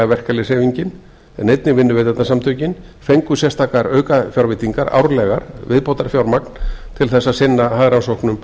verkalýðshreyfingin en einnig vinnuveitendasamtökin fengu sérstakar aukafjárveitingar árlega viðbótarfjármagn til þess að sinna hagrannsóknum